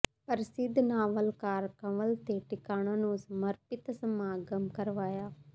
ਪ੍ਰਸਿੱਧ ਨਾਵਲਕਾਰ ਕੰਵਲ ਤੇ ਟਿਵਾਣਾ ਨੂੰ ਸਮਰਪਿਤ ਸਮਾਗਮ ਕਰਵਾਇਆ